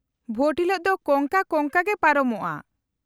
-ᱵᱷᱳᱴ ᱦᱤᱞᱳᱜ ᱫᱚ ᱠᱚᱝᱠᱟ ᱠᱚᱝᱠᱟ ᱜᱮ ᱯᱟᱨᱚᱢᱚᱜᱼᱟ ᱾